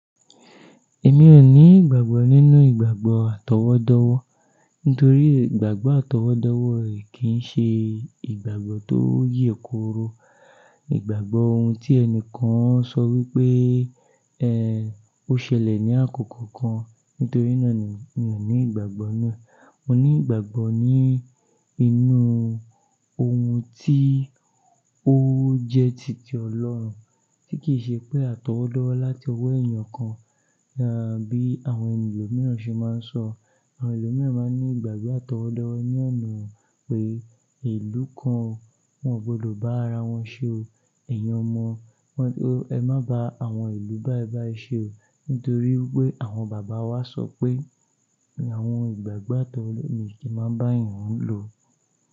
Èmi ò ní ìgbàgbọ́ nínú ìgbàgbọ́ àtọwọ́dọ́wọ́, nítorí ìgbàgbọ́ àtọwọ́dọ́wọ́ kì í ṣe ìgbàgbọ́ tó yè kooro. Ìgbàgbọ́ ohun tí ẹni kan sọ wípé ẹ́ ó ṣẹlẹ̀ ní àkókò kan, nítorí náà ni mi ò ní ìgbàgbọ́ náà. Mo ní ìgbàgbọ́ ní inú ohun tí ó jẹ titi ọlọ́run, tí kì í ṣe pé àtọwọ́dọ́ láti ọwọ́ èèyàn kan, bí àwọn ẹni lò miíràn ṣe máa ń sọ. Àwọn ẹò miíràn máa ní ìgbàgbọ́ àtọwọ́dọ́ ní ọ̀nà pé ìlú kan o wọn ò gbọdọ̀ bá ara wọn ṣe o, ẹ̀yin ọmọ, ẹ má ba àwọn ìlú bá ẹ ba ẹ ṣe o. Nítorí pé àwọn bàbá wa sọ pé àwọn ìgbàgbọ́ àtọwọ́dọ́ mi kì í máa bá èèyàn lò.